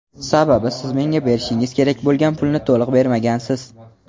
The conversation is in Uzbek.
Sababi siz menga berishingiz kerak bo‘lgan pulni to‘liq bermagansiz.